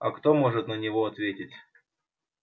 а кто может на него ответить